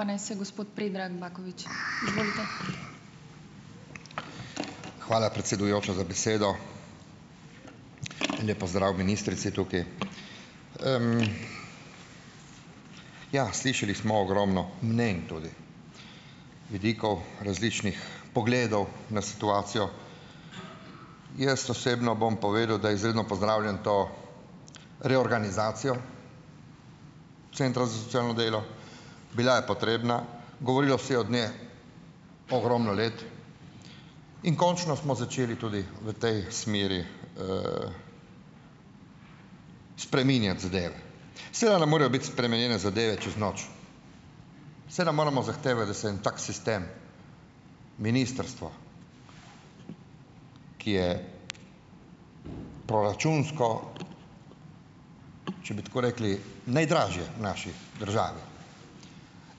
pa naj se gospod Predrag Bakovič. Izvolite . Hvala, predsedujoča, za besedo. En lep pozdrav ministrici tukaj. ... Ja, slišali smo ogromno mnenj tudi, vidikov, različnih pogledov na situacijo. Jaz osebno bom povedal, da izredno pozdravljam to reorganizacijo Centrov za socialno delo. Bila je potrebna, govorilo se je od nje ogromno let in končno smo začeli tudi v tej smeri spreminjati zadeve. Seveda ne morejo biti spremenjene zadeve čez noč . Saj ne moremo zahtevati, da se en tak sistem ministrstva, ki je proračunsko, če bi tako rekli, najdražje v naši državi.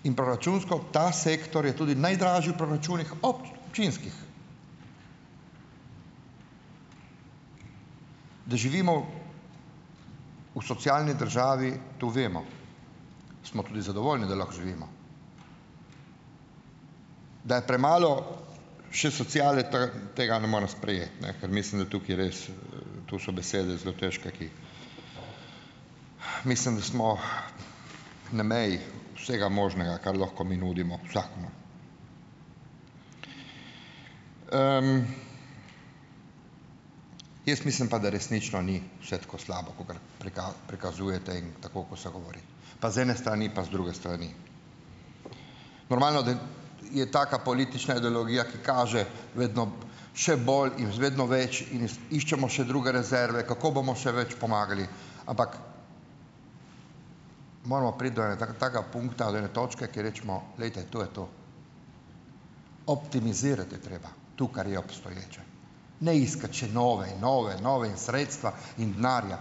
In proračunsko ta sektor je tudi najdražji v proračunih ob činskih. Da živimo v socialni državi, to vemo, smo tudi zadovoljni, da lahko živimo. Da je premalo še sociale, tega ne morem sprejeti, ne. Ker mislim, da tukaj res tu so besede zelo težke, ki mislim, da smo na meji vsega možnega, kar lahko mi nudimo vsakomur. Jaz mislim pa, da resnično ni vse tako slabo kakor prikazujete in tako, kot se govori. Pa z ene strani, pa z druge strani. Normalno je taka politična ideologija, ki kaže vedno še bolj in vedno več, in iščemo še druge rezerve, kako bomo še več pomagali. Ampak moramo priti do taka pung talere točke, ko rečemo, glejte, to je to. Optimizirati je treba. To, kar je obstoječe. Ne iskati še nove in nove in nove in sredstva in denarja.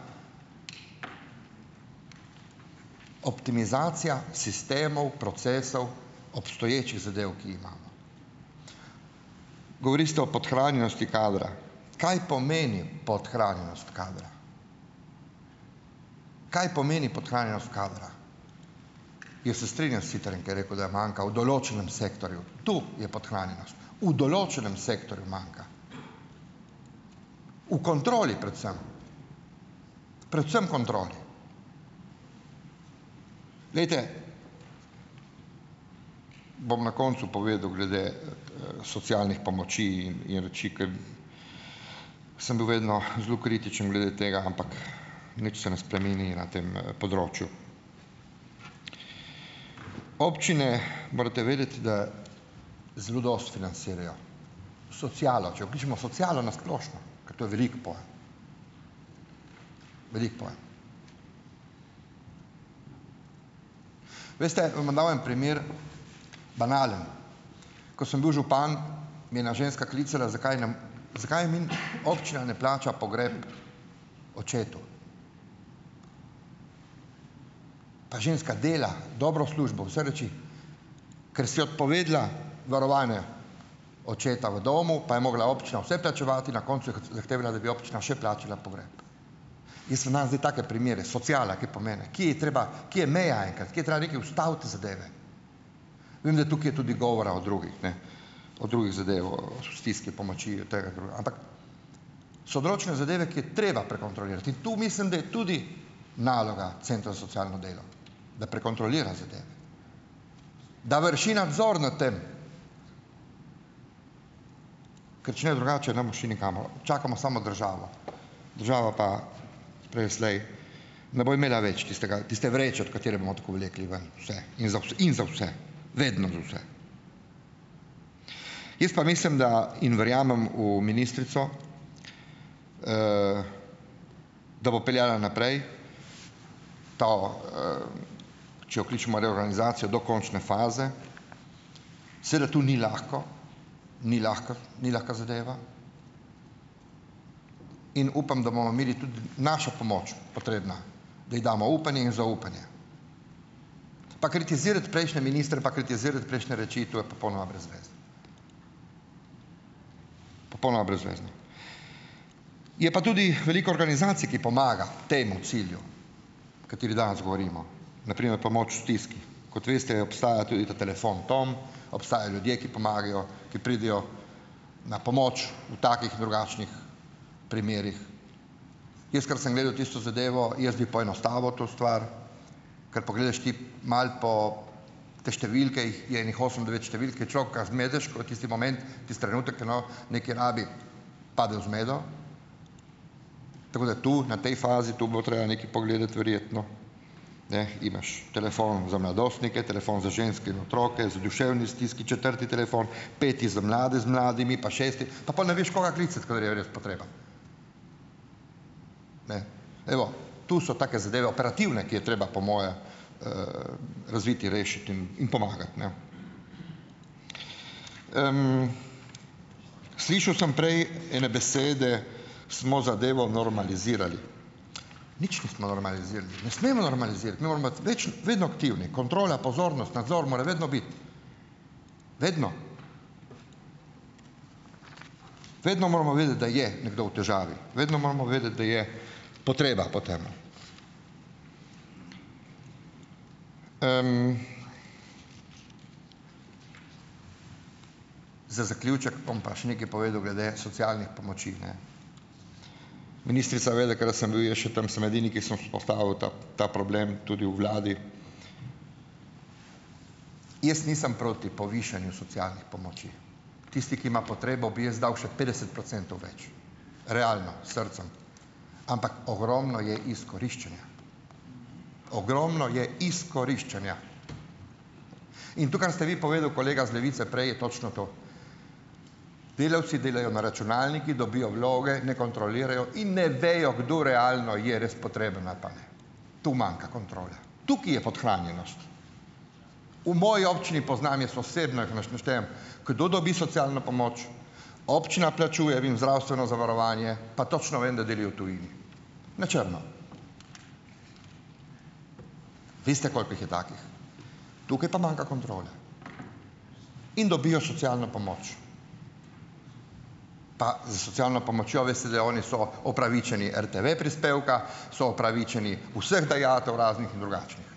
Optimizacija sistemov, procesov, obstoječih zadev, ki ji imamo. Govorite o podhranjenosti kadra. Kaj pomeni podhranjenost kadra? Kaj pomeni podhranjenost kadra? Jaz se strinjam s Sitarjem, ko je rekel, da je manjka v določenem sektorju. Tu je podhranjenost. V določenem sektorju manjka. V kontroli predvsem. Predvsem kontroli. Glejte, bom na koncu povedal glede socialnih pomoči in, in reči, ker sem bil vedno zelo kritičen glede tega, ampak nič se ne spremeni na tem področju. Občine, morate vedeti, da zelo dosti financirajo socialo, če vključimo socialo na splošno, ker to je velik pojem. Velik pojem. Veste, vam bom dal en primer, banalen, ko sem bil župan, me je ena ženska klicala, zakaj zakaj mi občina ne plača pogreb očetu. A ženska dela, dobro službo, vse reči, ker si je odpovedala varovalne očeta v domu, pa je morala občina vse plačevati in na koncu zahtevala, da bi občina še plačala pogreb. Jaz vam dajem zdaj take primere, sociala , ki ji treba, kje je meja enkrat, kaj je treba neki ustaviti zadeve. Vem, da tukaj je tudi govora o drugih, ne. O drugi o stiski, pomoči, tega , ampak so določene zadeve, ki je treba prekontrolirati, in tu mislim, da je tudi naloga Centra za socialno delo, da prekontrolira zadeve. Da vrši nadzor nad tem. Ker če ne, drugače ne bomo šli nikamor. Čakamo samo državo. Država pa, prej ali slej, ne bo imela več tistega, tiste vreče, od katere bomo tako vleki ven vse, in in za vse. Vedno za vse. Jaz pa mislim da in verjamem v ministrico, da bo peljala naprej to če okličemo reorganizacijo do končne faze, sedaj tu ni lahko, ni lahka, ni lahka zadeva, in upam, da bomo imeli tudi našo pomoč potrebna. Mi damo upanje in zaupanje. Pa kritizirati prejšnje ministre pa kritizirati prejšnje reči, to je popolnoma brez veze. Popolnoma brezvezno. Je pa tudi veliko organizacij, ki pomaga temu cilju. Kateri danes govorimo. Na primer pomoč v stiski. Kot veste, obstaja tudi ta telefon Tom, obstajajo ljudje, ki pomagajo, ki pridejo na pomoč v takih in drugačnih primerih. Jaz kar sem gledal tisto zadevo, jaz bi poenostavil to stvar, kar pogledaš ti malo po te številke, jih je ene osem, devet številk, ker človeka zmedeš, ko tisti moment, tisti trenutek nekaj rabi, pade v zmedo. Tako da tu, na tej fazi to bilo treba nekaj pogledati verjetno. Ne, imaš telefon za mladostnike, telefon za ženske, otroke, za duševne stiski, četrti telefon, peti za mlade z mladimi pa šesti, pa pol ne veš, koga klicati, kadar je res potreba. Ne. Evo, tu so take zadeve, operativne, ki je treba, po moje razviti, rešiti in pomagati, ne. Slišal sem prej ene besede, smo zadevo normalizirali. Nič nismo normalizirali. Ne smemo normalizirati . več, vedno aktivni. Kontrola, pozornost, nadzor mora vedno biti. Vedno. Vedno moramo vedeti, da je nekdo v težavi, vedno moramo vedeti, da je potreba po tem. za zaključek bom pa še nekaj povedal glede socialnih pomoči, ne. Ministrica ve, da kadar sem bil jaz še tam, sem edini, ki sem vzpostavil ta, ta problem tudi v vladi. Jaz nisem proti povišanju socialnih pomoči. Tisti, ki ima potrebo, bi jaz dal še petdeset procentov več. Realno. S srcem. Ampak ogromno je izkoriščanja. Ogromno je izkoriščanja. In to, kar ste vi povedali, kolega iz Levice prej, je točno to. Delavci delajo na računalnikih, dobijo vloge, ne kontrolirajo in ne vejo, kdo realno je res potreben ali pa ne. Tu manjka kontrola. Tukaj je podhranjenost. V moji občini poznam jaz osebno jih naštejem, kdo dobi socialno pomoč, občina plačuje im zdravstveno zavarovanje, pa točno vem, da deli v tujini. Na črno. Veste, koliko jih je takih. Tukaj pa manjka kontrola. In dobijo socialno pomoč. Pa s socialno pomočjo veste, da oni so opravičeni RTV prispevka, so opravičeni vseh dajatev, raznih in drugačnih.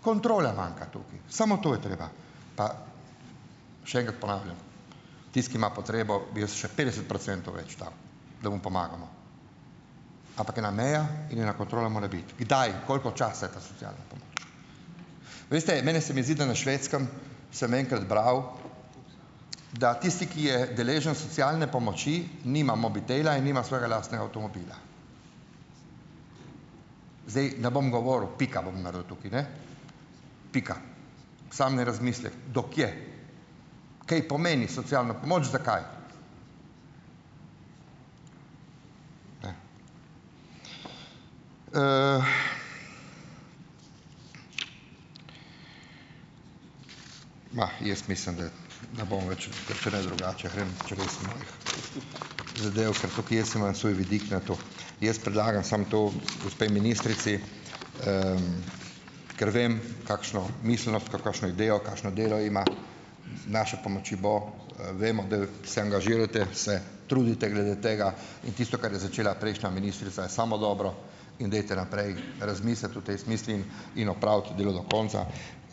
Kontrola manjka tukaj. Samo to je treba. Pa še enkrat ponavljam. Tisti, ki ima potrebo, bi jaz še petdeset procentov več dal. Da mu pomagamo. Ampak ena meja in ena kontrola mora biti. Kdaj, koliko časa je ta sociala. Veste, mene se mi zdi, da na Švedskem sem enkrat bral, da tisti, ki je deležen socialne pomoči, nima mobitela in nima svojega lastnega avtomobila. Zdaj, ne bom govoril. Pika bom naredil tukaj, ne. Pika. Samo ne razmislek, do kje, kaj pomeni socialna pomoč? Zakaj? Ne. Ma, jaz mislim, da ne bom več, tudi če ne drugače zadel, ker tukaj jaz imam svoj vidik na to. Jaz predlagam samo to gospe ministrici , ker vem kakšno miselno, kakšno idejo, kakšno delo ima , z našo pomočjo bo, vemo da, se angažirajte, se trudite glede tega in tisto, kar je začela prejšnja ministrica je samo dobro in dajte naprej razmisliti o tej zamisli in opraviti delo do konca ,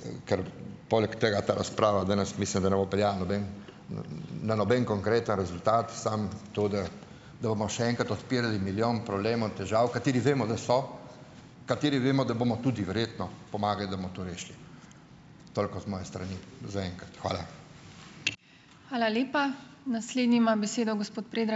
in kar poleg tega ta razprava danes, mislim, da ne bo peljala noben, na noben konkreten rezultat, samo to, da da bomo še enkrat odpirali milijon problemov in težav, kateri vemo, da so, kateri vemo, da bomo tudi verjetno pomagali, da bomo to rešili. Toliko z moje strani zaenkrat. Hvala. Hvala lepa. Naslednji ima besedo gospod